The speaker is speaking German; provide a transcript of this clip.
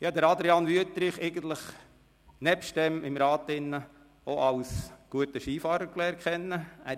Ich habe Adrian Wüthrich ausserhalb des Rats auch als guten Skifahrer kennengelernt.